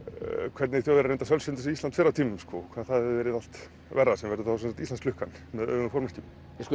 hvernig Þjóðverjar reyndu að sölsa undir sig Ísland fyrr á tímum hvað það hafi verið allt verra sem verður þá Íslandsklukkan með öfugum formerkjum